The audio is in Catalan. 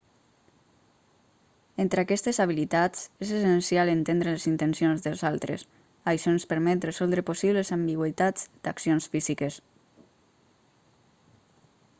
entre aquestes habilitats és essencial entendre les intencions dels altres això ens permet resoldre possibles ambigüitats d'accions físiques